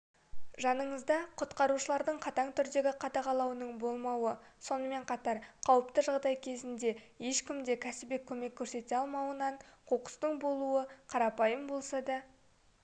жаныңызда құтқарушылардың қатаң түрдегі қадағалауының болмауы сонымен қатар қауіпті жағдай кезінде ешкімде кәсіби көмек көрсете алмауынан қоқыстың болуы қарапайым болса да